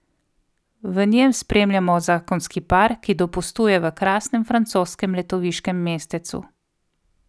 V njem spremljamo zakonski par, ki dopustuje v krasnem francoskem letoviškem mestecu.